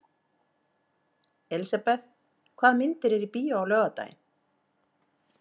Elisabeth, hvaða myndir eru í bíó á laugardaginn?